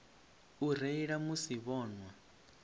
u reila musi vho nwa